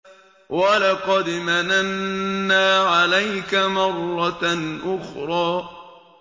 وَلَقَدْ مَنَنَّا عَلَيْكَ مَرَّةً أُخْرَىٰ